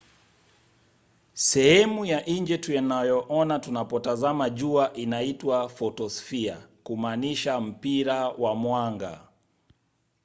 sehemu ya nje tunayoona tunapotazama jua inaitwa photosphere kumaanisha mpira wa mwanga